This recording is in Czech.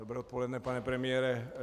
Dobré odpoledne, pane premiére.